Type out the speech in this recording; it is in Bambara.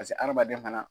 Paseke hadamaden fana